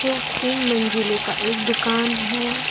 तीन मंजिले का एक दुकान है।